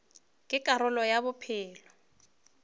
ke karolo ya bophelo bja